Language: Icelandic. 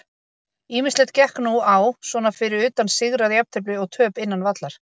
Ýmislegt gekk nú á svona fyrir utan sigra, jafntefli og töp innan vallar.